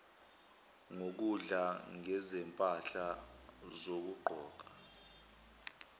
ngokudla ngezimpahla zokugqoka